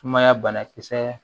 Sumaya banakisɛ